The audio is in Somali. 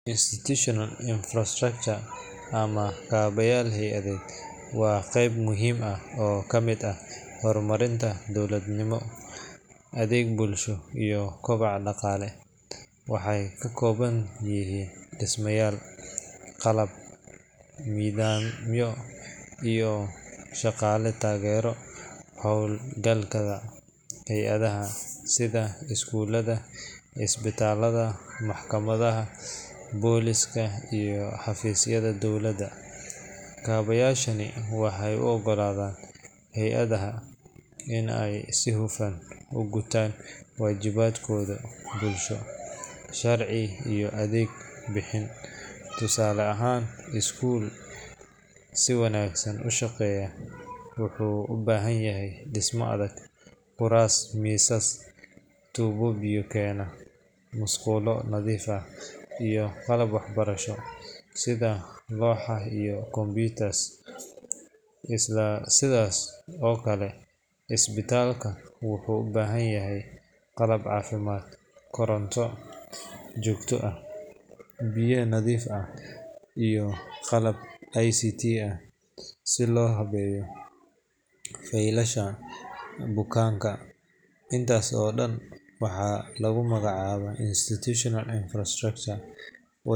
Institutional infrastructure ama kaabayaal hay’adeed waa qeyb muhiim ah oo ka mid ah horumarinta dowladnimo, adeeg bulsho, iyo kobaca dhaqaale. Waxay ka kooban yihiin dhismayaal, qalab, nidaamyo, iyo shaqaale taageera howlgallada hay’adaha sida iskuulada, isbitaalada, maxkamadaha, booliiska, iyo xafiisyada dowladda. Kaabayaashani waxay u oggolaadaan hay’adaha in ay si hufan u gutaan waajibaadkooda bulsho, sharci iyo adeeg bixin. Tusaale ahaan, iskuul si wanaagsan u shaqaynaya wuxuu u baahan yahay dhisme adag, kuraas, miisas, tuubbo biyo keena, musqulo nadiif ah, iyo qalab waxbarasho sida looxa iyo computers. Isla sidaas oo kale, isbitaalka wuxuu u baahan yahay qalab caafimaad, koronto joogto ah, biyaha nadiifka ah, iyo qalab ICT ah si loo habeeyo faylasha bukaanka. Intaas oo dhan waxaa lagu magacaabaa institutional infrastructure.